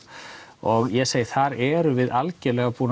og ég segi þar erum við algjörlega